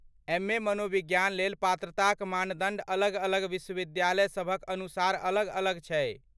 MA. मनोविज्ञान लेल पात्रताक मानदण्ड अलग अलग विश्वविद्यालयसभक अनुसार अलग अलग छै।